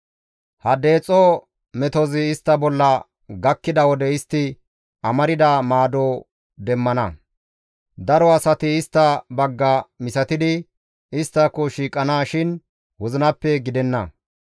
Ha deexo metozi istta bolla gakkida wode istti amarda maado demmana; daro asati istta bagga misatidi isttako shiiqana shin wozinappe gidenna.